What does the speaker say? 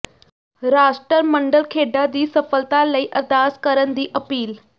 ਰਾਸ਼ਟਰਮੰਡਲ ਖੇਡਾਂ ਦੀ ਸਫਲਤਾ ਲਈ ਅਰਦਾਸ ਕਰਨ ਦੀ ਅਪੀਲ